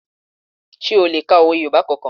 Sé o le ka òwe Yorùbá kankan?